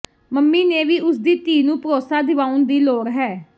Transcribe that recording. mummy ਨੇ ਵੀ ਉਸ ਦੀ ਧੀ ਨੂੰ ਭਰੋਸਾ ਦਿਵਾਉਣ ਦੀ ਲੋੜ ਹੈ